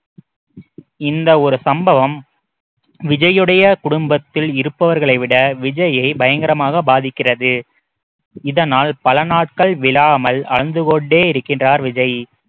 இந்த ஒரு சம்பவம் விஜய்யுடைய குடும்பத்தில் இருப்பவர்களை விட விஜய்யை பயங்கரமாக பாதிக்கிறது இதனால் பல நாட்கள் விழாமல் அழுது கொண்டே இருக்கின்றார் விஜய்